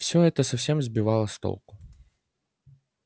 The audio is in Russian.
всё это совсем сбивало с толку